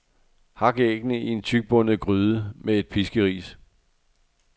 Hak æggene, i en tykbundet gryde, med et piskeris.